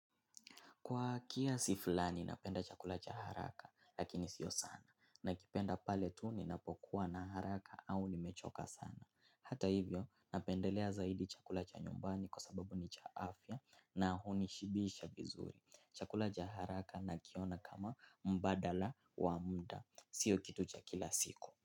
Kwa kiasi fulani napenda chakulcha haraka lakini sio sana. Nakipenda pale tu ni napokuwa na haraka au nimechoka sana. Hata hivyo napendelea zaidi chakula cha nyumbani kwa sababu ni cha afya na hunishibisha vizuri. Chakula cha haraka nakiona kama mbadala wa muda. Sio kitu cha kila siku.